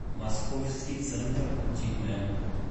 московский центр дикуля